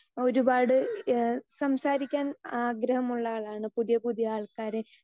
speaker 2 ഒരുപാട് ഏഹ് സംസാരിക്കാൻ ആഗ്രഹമുള്ള ആളാണ് പുതിയ പുതിയ ആൾക്കാരെ